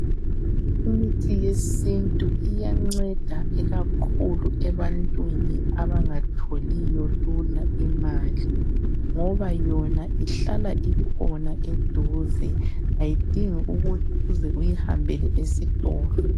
Imithi yesintu iyanceda ikakhulu ebantwini abangatholiyo lula imali ngoba yona ihlala ikhona eduze ayidingi ukuthi uze uyihambele esitolo.